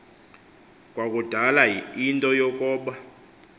kwakudala into yokoba